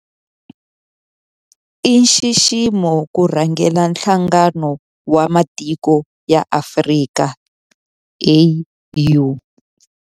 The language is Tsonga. I nxiximo ku rhangela Nhlangano wa Matiko ya Afrika, AU.